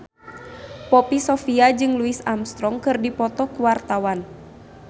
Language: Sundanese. Poppy Sovia jeung Louis Armstrong keur dipoto ku wartawan